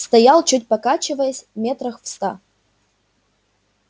стоял чуть покачиваясь метрах в ста